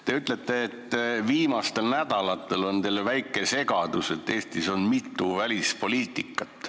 Te ütlete, et viimastel nädalatel on teil tekkinud väike segadus, et Eestis oleks nagu mitu välispoliitikat.